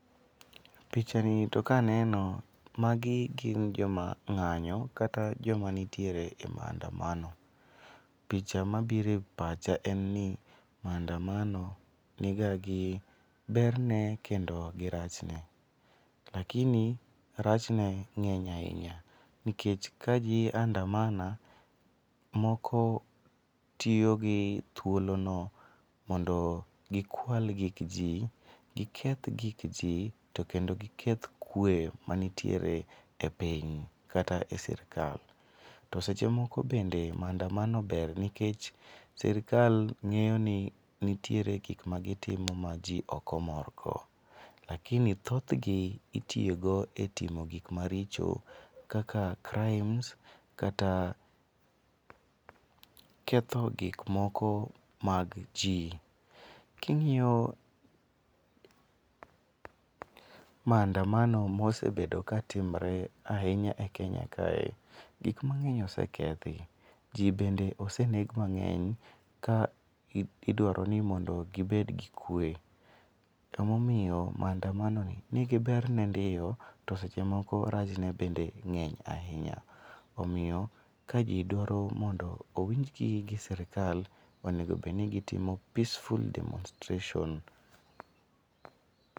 Pichani to kaneno magi gin joma ng'anyo kata joma nitiere e mandamano. Picha mabiro e pacha en ni mandamano niga gi berne kendo gi rachne. Lakini rach ne ng'eny ahinya. Nikech ka ji andamana moko tiyo gi thuolono mondogi kwal gik ji, giketh gik ji to kendo giketh kwe matiere e piny kata e sirkal. To seche moko bende mandamano ber nikech sirkal ng'eyo ni nitiere gik magitimo maji ok omor go lakini thothgi itiyo go e timo gik maricho kaka crimes kata ketho gik moko mag ji. King'iyo mandamano mosebedo katimore ahinya e Kenya kae, gik mang'eny osekethi, ji bende oseneg mang'eny ka idwaro ni mondo gibed gi kwe. Emomiyo mandamanoni nigi berne ndio, to seche moko rach ne bende ng'eny ahinya. Emomiyo kaji dwaro mondo owinjgi gi sirikal onego obed ni gitimo peaceful demonstration